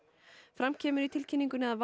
fram kemur í tilkynningunni að